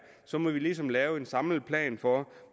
så må vi ligesom lave en samlet plan for